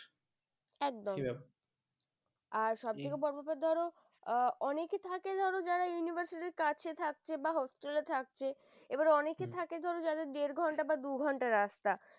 একদম আর সবথেকে বড় ব্যাপার ধরো অনেকে থাকে যারা university কাছে থাকছে বা hostel থাকছে এবারে অনেকে থাকে ধর যারা দেড় ঘন্টা বা দু ঘন্টা রাস্তা ।